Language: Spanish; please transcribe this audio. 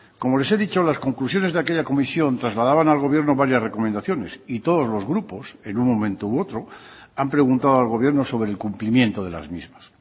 como les he dicho las conclusiones de aquella comisión trasladaban al gobierno varias recomendaciones y todos los grupos en un momento u otro han preguntado al gobierno sobre el cumplimiento de las mismas